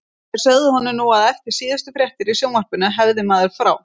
Þeir sögðu honum nú að eftir síðustu fréttir í sjónvarpinu hefði maður frá